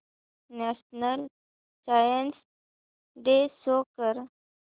national science day show कर